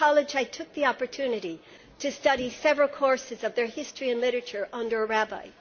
In college, I took the opportunity to study several courses of their history and literature under a rabbi.